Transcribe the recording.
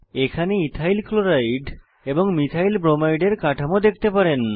এখানে ethyl chloride এবং methyl bromide এর কাঠামো দেখতে পারেন